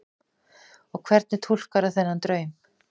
Og hvernig túlkarðu þennan draum?